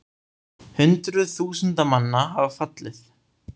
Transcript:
Hundruð þúsunda manna hafa fallið